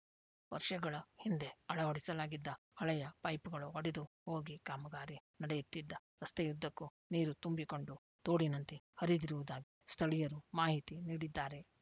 ವರ್ಷಗಳ ಹಿಂದೆ ಅಳವಡಿಸಲಾಗಿದ್ದ ಹಳೆಯ ಪೈಪುಗಳು ಒಡೆದು ಹೋಗಿ ಕಾಮಗಾರಿ ನಡೆಯುತ್ತಿದ್ದ ರಸ್ತೆಯುದ್ದಕ್ಕೂ ನೀರು ತುಂಬಿಕೊಂಡು ತೋಡಿನಂತೆ ಹರಿದಿರುವುದಾಗಿ ಸ್ಥಳೀಯರು ಮಾಹಿತಿ ನೀಡಿದ್ದಾರೆ